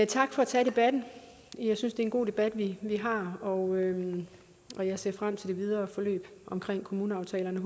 tak for at tage debatten jeg synes det er en god debat vi har og og jeg ser frem til det videre forløb omkring kommuneaftalerne